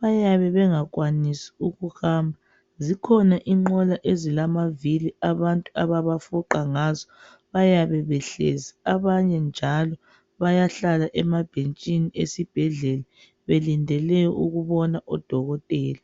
bayabe bengakwanisi ukuhamba. Zikhona inqola ezilamavili abantu ababafuqa ngazo. Abantu bayabe behlezi, abanye njalo bayahlala emabhentshini esibhedlela belindele ukubona odokotela.